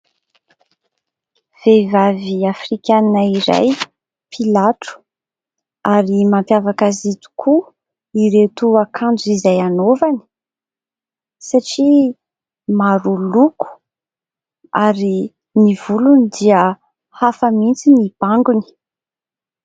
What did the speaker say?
Vehivavy afrikana iray mpilatro, ary mampiavaka azy tokoa ireto akanjo izay anaovany satria maro loko, ary ny volony dia hafa mihitsy ny bangony.